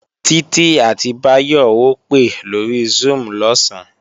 Títí àti Báyọ̀ ó pè lórí Zoom lọ̀sán